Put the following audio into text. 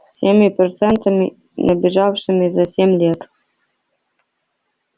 со всеми процентами набежавшими за семь лет